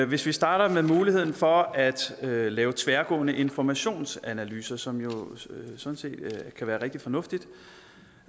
hvis vi starter med muligheden for at at lave tværgående informationsanalyser som jo sådan set kan være rigtig fornuftigt